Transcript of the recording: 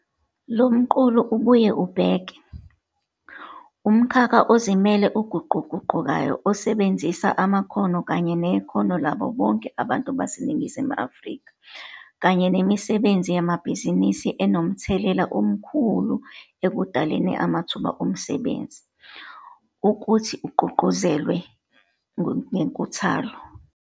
Lo mqulu ubuye ubheke 'umkhakha ozimele oguquguqukayo, osebenzisa amakhono kanye nekhono labo bonke abantu baseNingizimu Afrika kanye nemisebenzi yamabhizinisi enomthelela omkhulu ekudaleni amathuba omsebenzi, ukuthi ugqugquzelwe ngenkuthalo.'